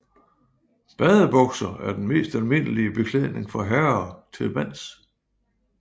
Badebukser er den mest almindelige beklædning for herrer til vands